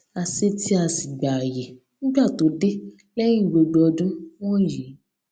a se tii a sì gba àyè nígbà tó dé léyìn gbogbo ọdún wònyí